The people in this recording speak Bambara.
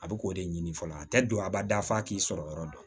A bɛ k'o de ɲini fɔlɔ a tɛ don abada f'a k'i sɔrɔ yɔrɔ dɔn